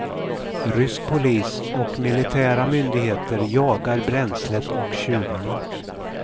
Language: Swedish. Rysk polis och militära myndigheter jagar bränslet och tjuvarna.